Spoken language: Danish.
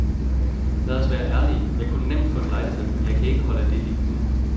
Lad os være ærlige, jeg kunne nemt få en lejlighed, men jeg kan ikke holde det liv ud.